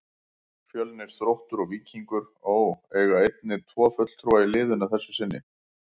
Fjölnir, Þróttur og Víkingur Ó. eiga einnig tvo fulltrúa í liðinu að þessu sinni.